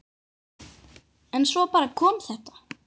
En svo bara kom þetta.